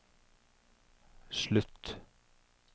slutt